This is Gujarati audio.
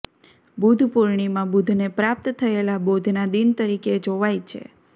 બુદ્ધ પૂર્ણિમા બુદ્ધને પ્રાપ્ત થયેલા બોધના દિન તરીકે જોવાય છે